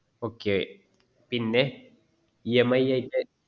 okay പിന്നആ EMI യിട്ട്